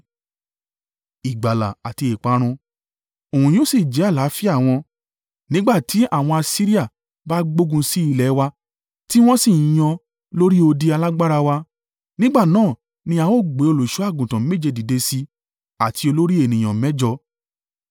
Òun yóò sì jẹ́ àlàáfíà wọn. Nígbà tí àwọn Asiria bá gbógun sí ilẹ̀ wa tí wọ́n sì ń yan lórí odi alágbára wa, nígbà náà ni a ó gbé olùṣọ́-àgùntàn méje dìde sí i, àti olórí ènìyàn mẹ́jọ.